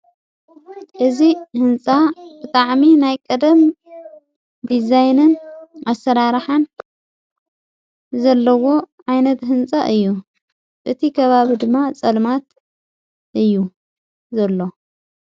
እዝ ሕንፃ ብጣዕሚ ናይ ቀደም ዲዛይንን ዓሠራርኃን ዘለዎ ዓይነት ሕንጻ እዩ እቲ ገባብ ድማ ጸልማት እዩ ዘሎ::